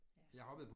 Ja